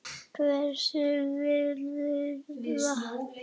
Hvers vegna frýs vatn